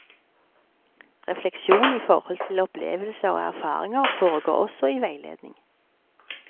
Refleksjon i forhold til opplevelser og erfaringer foregår også i veiledning.